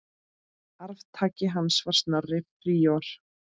Arftaki hans var Snorri príor.